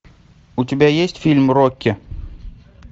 у тебя есть фильм рокки